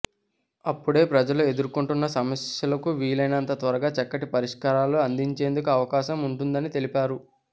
అప్పుడే ప్రజలు ఎదుర్కొంటున్న సమస్యలకు వీలైనంత త్వరగా చక్కటి పరిష్కారాలు అందించేందుకు అవకాశం ఉంటుందని తెలిపారు